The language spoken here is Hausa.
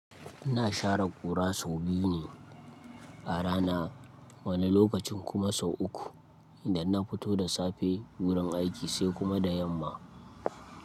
Ina share ƙura sau biyu ne a rana, wani lokacin kuma sau uku idan na fito da safe wurin aiki sai kuma da yamma.